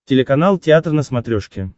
телеканал театр на смотрешке